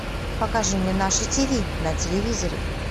покажи мне наше ти ви на телевизоре